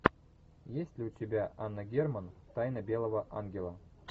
есть ли у тебя анна герман тайна белого ангела